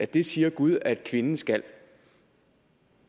det siger gud at kvinden skal